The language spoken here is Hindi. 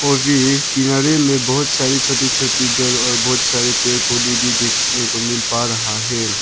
और ये ये किनारे में बहुत सारी छोटी छोटी घर और बहुत सारे पेड़ पौधे भी देखने को मिल पा रहा है।